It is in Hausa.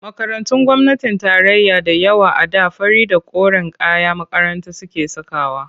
Makarantun gwamnatin tarayya da yawa a da fari da koren kayan makaranta suke sakawa.